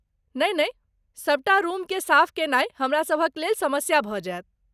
नहि नहि, सबटा रुमकेँ साफ कयनाय हमरासभक लेल समस्या भऽ जायत!